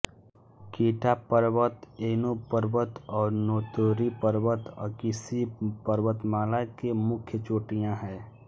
किटा पर्वत ऐनो पर्वत और नोतोरी पर्वत अकीशी पर्वतमाला के मुख्य चोटियाँ हैं